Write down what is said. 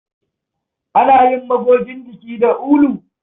Ana yin magogin jiki da ulu.